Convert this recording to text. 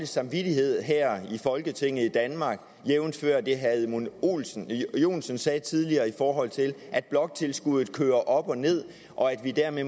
samvittighed her i folketinget i danmark jævnfør det herre edmund joensen sagde tidligere i forhold til at bloktilskuddet kører op og ned og at vi dermed